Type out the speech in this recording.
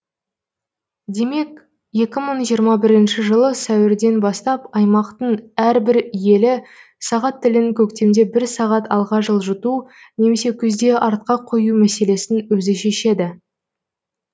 демек екі мың жиырма бірінші жылы сәуірден бастап аймақтың әрбір елі сағат тілін көктемде бір сағат алға жылжыту немесе күзде артқа қою мәселесін өзі шешеді